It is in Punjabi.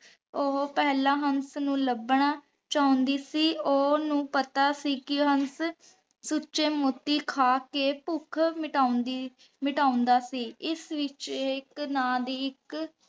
ਓਹੋ ਪੇਹ੍ਲਾਂ ਹੰਸ ਨੂ ਲਬਨਾ ਚੌਂਦੀ ਸੀ ਓਹਨੁ ਪਤਾ ਸੀ ਕੀ ਹੰਸ ਸੂਚੀ ਮੋਤੀ ਖਾ ਕੇ ਪੁਖ਼ ਮਿਤਾਂਦੀ ਮਿਟਾਂਦਾ ਸੀ ਏਸ ਵਿਚ ਏਇਕ ਨਾ ਦੀ ਏਇਕ